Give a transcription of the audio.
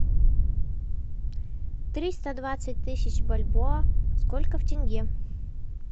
триста двадцать тысяч бальбоа сколько в тенге